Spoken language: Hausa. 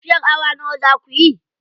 Tafiyar awa nawa za kuyi?